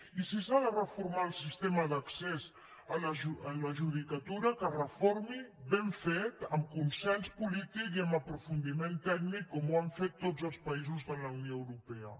i si s’ha de reformar el sistema d’accés a la judi·catura que es reformi ben fet amb consens polític i amb aprofundiment tècnic com ho han fet tots els paï·sos de la unió europea